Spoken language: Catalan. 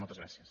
moltes gràcies